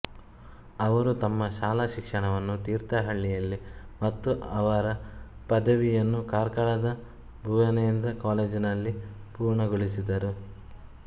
ಅವರು ತಮ್ಮ ಶಾಲಾ ಶಿಕ್ಷಣವನ್ನು ತೀರ್ಥಹಳ್ಳಿಯಲ್ಲಿ ಮತ್ತು ಅವರ ಪದವಿಯನ್ನು ಕಾರ್ಕಳದ ಭುವೇಂದ್ರ ಕಾಲೇಜಿನಲ್ಲಿ ಪೂರ್ಣಗೊಳಿಸಿದರು